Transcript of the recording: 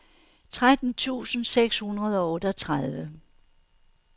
tretten tusind seks hundrede og otteogtredive